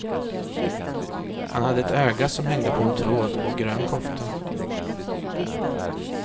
Han hade ett öga som hängde på en tråd och grön kofta.